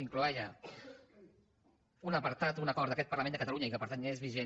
incloïa un apartat un acord d’aquest parlament de catalunya i que per tant és vigent